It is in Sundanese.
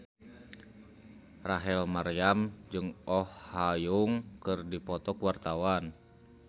Rachel Maryam jeung Oh Ha Young keur dipoto ku wartawan